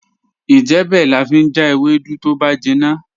Ijebẹ̀ lán fi jà èwèdú tó bá jínna